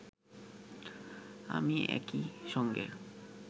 আমি একই সঙ্গে